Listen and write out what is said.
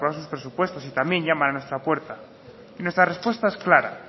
sus presupuestos y también llaman a nuestra puerta nuestra respuesta es clara